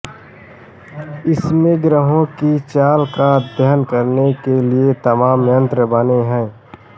इसमें ग्रहों की चाल का अध्ययन करने के लिए तमाम यंत्र बने हैं